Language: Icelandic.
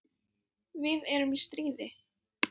Við erum í stríði.